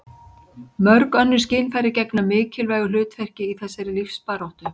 mörg önnur skynfæri gegna mikilvægu hlutverki í þessari lífsbaráttu